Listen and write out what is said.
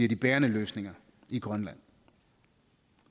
de bærende løsninger i grønland